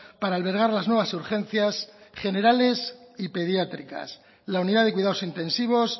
para albergar las nuevas urgencias generales y pediátricas la unidad de cuidados intensivos